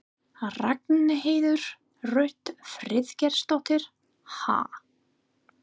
Ragnheiður Rut Friðgeirsdóttir: Ha?